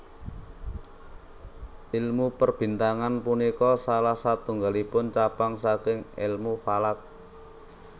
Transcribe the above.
Ilmu perbintangan punika salah satunggalipun cabang saking Èlmu Falak